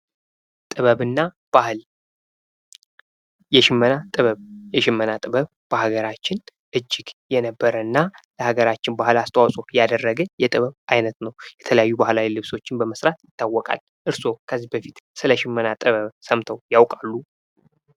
ጥበብና ባህል የሽመና ጥበብ የሽመና ጥበብ በሀገራችን እጅግ በነበረና ለሀገራችን ባህል አስተዋጽኦ ያደረገ የጥበብ አይነት ነው። የተለያዩ ባህላዊ ልብሶችን በመስራት ይታወቃል። እርስዎ ከዚህ በፊት ስለ ሽመና ጥበብ ሰምተው ያውቃሉ?